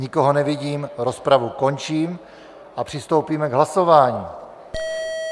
Nikoho nevidím, rozpravu končím a přistoupíme k hlasování.